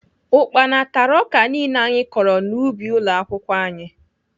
Ukpana tara ọka niile anyị kọrọ n'ubi ụlọakwụkwọ anyị